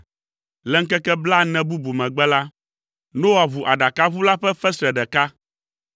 Le ŋkeke blaene bubu megbe la, Noa ʋu aɖakaʋu la ƒe fesre ɖeka,